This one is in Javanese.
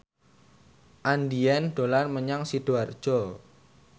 Andien dolan menyang Sidoarjo